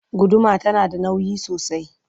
guduma tana da nauyi sosai